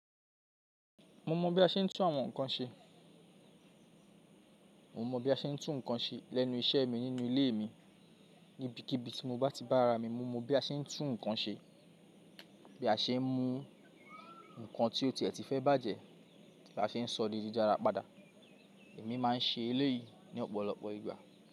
Mo mọ bí a ṣe ń tún àwọn nǹkan ṣe. Mo mọ bí a ṣe ń tún nǹkan ṣe lẹ́nu iṣẹ́ mi nínú ilé mi. Nibikíbi tí mo bá ti bá ara mi mu, mo mọ bí a ṣe ń tún nǹkan ṣe, bí a ṣe ń mú nǹkan tí ọ̀ tiẹ̀ ti fẹ́ bàjẹ́, bí a ṣe ń sọ di dídáára padà. Èmi máa ń ṣe eléyìí ní ọ̀pọ̀lọpọ̀ ìgbà.